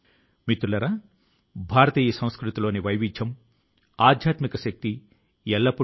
అరుణాచల్ ప్రజలు వారి ఇష్టపూర్వకం గా 1600 కంటే ఎక్కువ ఎయిర్ గన్ల ను అప్పగించారు